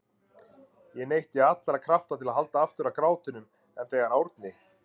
Ég neytti allra krafta til að halda aftur af grátinum en þegar Árni